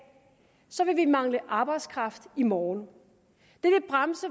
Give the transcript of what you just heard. vil vi mangle arbejdskraft i morgen